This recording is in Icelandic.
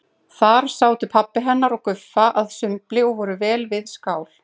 Þar sátu pabbi hennar og Guffa að sumbli og voru vel við skál.